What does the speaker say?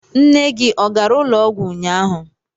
Nne gị ọ gara ụlọọgwụ ụnyaahụ?